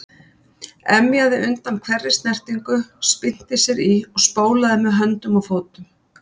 Emjaði undan hverri snertingu, spyrnti sér í og spólaði með höndum og fótum.